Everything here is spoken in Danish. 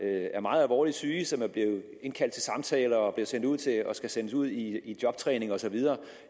er meget alvorligt syge og som er blevet indkaldt til samtale og skal sendes ud i jobtræning osv